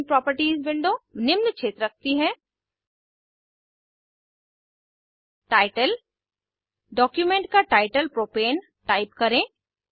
document properties window निम्न क्षेत्र रखती है टाइटल डॉक्यूमेंट का टाइटल प्रोपेन टाइप करें